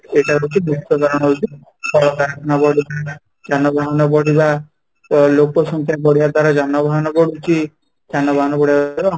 ଏଇଟା ହଉଛି କଳକାରଖାନା ବଢିବା, ଯାନବାହାନ ବଢିବା ତ ଲୋକ ସଂଖ୍ୟା ବଢିବା ଦ୍ୱାରା ଯାନବାହାନ ବଢୁଛି ଯାନବାହାନ ବଢିବା ଦ୍ୱାରା